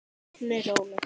Hún er róleg.